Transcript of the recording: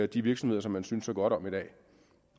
de virksomheder som man synes så godt om i dag